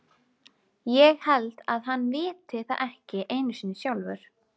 Ég held að hann viti það ekki einu sinni sjálfur.